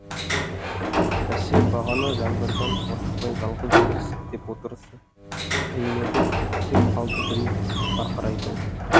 бәсе бағана жаңбырдан қорықпай жалғыз өзі сілтеп отырысы қиын еді кеп қалды біреу барқырай күліп